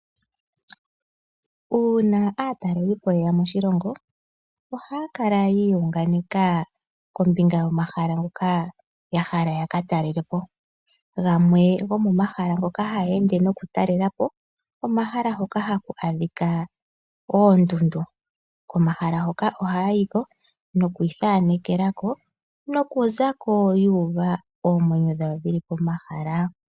Uuna aatalelipo ye ya moshilongo ohaya kala yi iyunganeka kombinga yomahala ngoka ya hala ya ka talele po. Gamwe gomomahala ngoka haya ende nokutalela po omahala hoka haku adhika oondundu. Komahala hoka ohaya yi ko nokuithanekela ko nokuza ko yu uva oomwenyo dhawo dhi li pomahala.